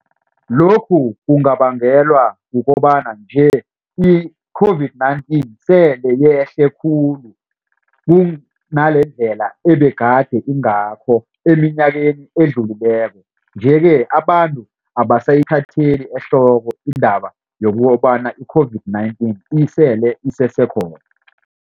Lokhu kungabangelwa kukobana nje i-COVID-19 yehle khulu kunangalendlela ebegade ingakho eminyakeni edlulileko. Nje-ke abantu abasayithatheli ehloko indaba yokobana i-COVID-19 isele isesekhona.